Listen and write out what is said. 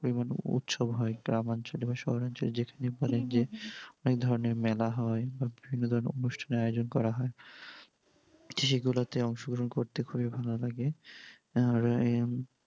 উৎসব হয় গ্রাম অঞ্চলে বা শহর অঞ্চলে যেখানেই বলেন যে অনেক ধরেনর মেলা হয় বা বিভিন্ন ধরনের অনুষ্ঠানের আয়োজন করা হয় সেই গুলোতে অংশগ্রহণ করতে খুবই ভালো লাগে। আর